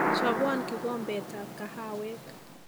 Chobon kikombetab kahawek